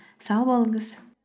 сау болыңыз